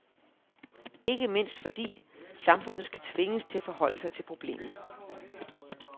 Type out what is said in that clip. Ikke mindst fordi, samfundet skal tvinges til at forholde sig til problemet.